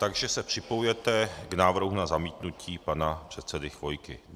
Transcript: Takže se připojujete k návrhu na zamítnutí pana předsedy Chvojky.